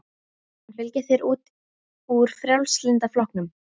Mun hann fylgja þér út úr Frjálslynda flokknum?